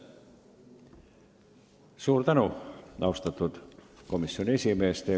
Suur tänu, austatud komisjoni esimees!